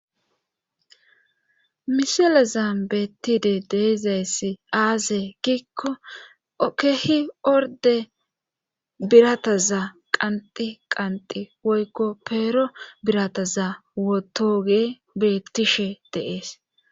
misele zaambettide deezayssi aaze giikko okehi orde birata za qanti qanqi woykko peero birata za wotoge bettishe dee'es